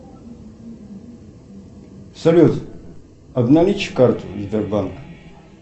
салют обналичь карту сбербанка